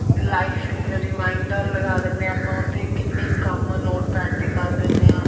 life reminder ਲਗਾ ਦਿੰਨੇ ਹਾਂ ਆਪਾ ਉਹ੍ਤੇ ਕਿੰਨੇ ਕੰਮ notepad ਤੇ ਕਰ ਦਿੰਨੇ ਆਂ